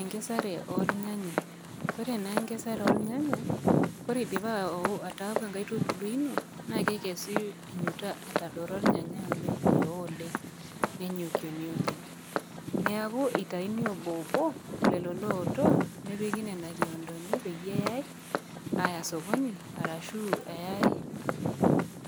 Enkesare olnyanya, ore naa enkesare olnyanya, ore eidipa ataaku enkaitubulu ino, nake ekesi etadoro olnyanyai oleng, eoo oleng, nenyokuenu oleng. Neaku eitaini obo obo lelo looto, nepiki kiondoni peyie eyai, aya sokoni arashu eyai